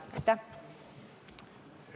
Aitäh!